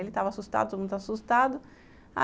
Ele estava assustado, todo mundo estava assustado.